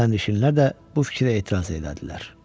Sərnişinlər də bu fikrə etiraz elədilər.